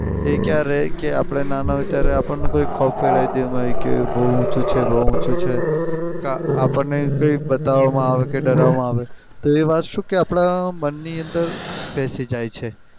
એ ક્યારે હમ story કે આપણને નાના હોય ત્યારે આપણને કે ખોફ કે બઉ ઊંચું છે બઉ ઊંચું છે અમ આપણને બતાવામાં આવે ડરવામાં આવે તો એ વાત શુ કે આપણા મનની અંદર પેસી જાય છે.